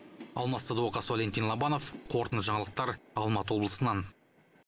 алмас садуақас валентин лобанов қорытынды жаңалықтар алматы облысынан